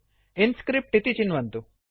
InScript इति चिन्वन्तु